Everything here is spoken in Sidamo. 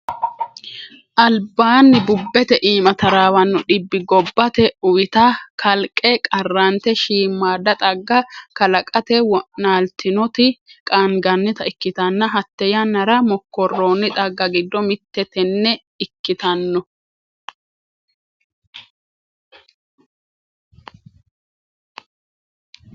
Albaani bubete iimanni tarawano dhibbi gobbate uwitta kalqe qarrante shiimada xagga kalaqate wo'naltinoti qaangannitta ikkittanna hate yannara mokkoroni xagga giddo mite tene ikkittano.